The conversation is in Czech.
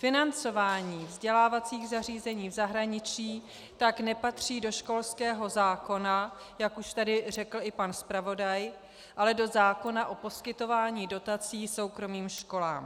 Financování vzdělávacích zařízení v zahraničí tak nepatří do školského zákona, jak už tady řekl i pan zpravodaj, ale do zákona o poskytování dotací soukromým školám.